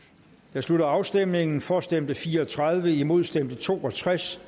jeg slutter afstemningen for stemte fire og tredive imod stemte to og tres